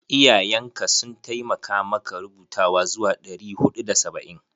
Iyayen ka sun taimakamaka rubutawa zuwa ɗari huɗu da saba'in?